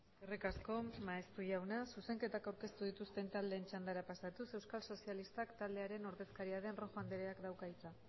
eskerrik asko maeztu jauna zuzenketak aurkeztu dituzten taldeen txandara pasatuz euskal sozialistak taldearen ordezkaria den rojo andreak dauka hitza